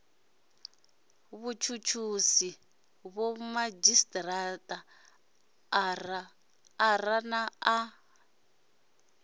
vhutshutshisi vhomadzhisi ara a na